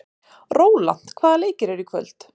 Rólant, hvaða leikir eru í kvöld?